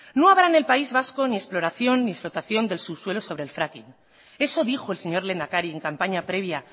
no habrá en el país vasco ni exploración ni explotación del subsuelo sobre el fracking eso dijo el señor lehendakari en campaña previa